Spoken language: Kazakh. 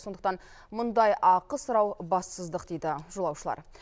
сондықтан мұндай ақы сұрау бассыздық дейді жолаушылар